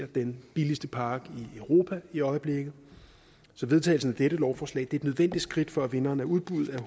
den billigste park i europa i øjeblikket så vedtagelsen af dette lovforslag et nødvendigt skridt for at vinderen af udbuddet af